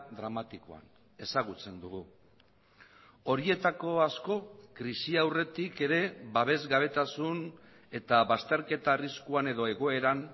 dramatikoan ezagutzen dugu horietako asko krisi aurretik ere babesgabetasun eta bazterketa arriskuan edo egoeran